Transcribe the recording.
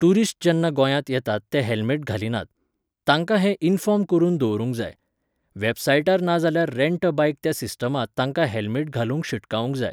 Tourist जेन्ना गोंयांत येतात ते हेल्मेट घालिनात. तांकांं हें इन्फोर्म करून दवरूंक जाय. वॅबसायटार ना जाल्यार रेंट अ बायक त्या सिस्टमांत तांकां हेल्मेट घालूंक शिटकावूंक जाय.